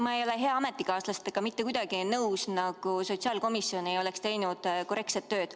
Ma ei ole hea ametikaaslasega mitte kuidagi nõus, kui ta väidab, et sotsiaalkomisjon ei ole teinud korrektset tööd.